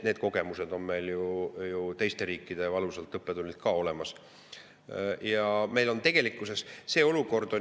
Need kogemused, teiste riikide valusad õppetunnid on meile.